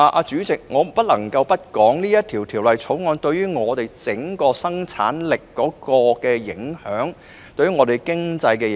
主席，我不得不談《條例草案》對香港整體生產力及對本地經濟的影響。